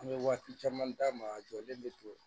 An bɛ waati caman d'a ma a jɔlen bɛ to